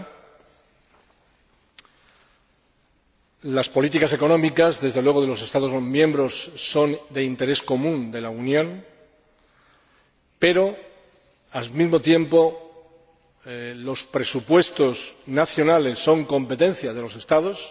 Las políticas económicas de los Estados miembros son de interés común de la Unión, pero, al mismo tiempo, los presupuestos nacionales son competencia de los Estados.